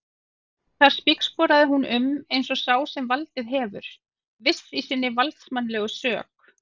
Þar spígsporaði hún um eins og sá sem valdið hefur, viss í sinni valdsmannslegu sök.